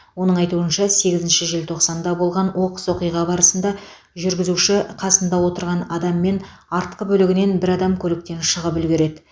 оның айтуынша сегізінші желтоқсанда болған оқыс оқиға барысында жүргізуші қасында отырған адам мен артқы бөлігінен бір адам көліктен шығып үлгереді